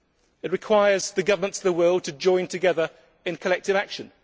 It requires the governments of the world to join together in collective action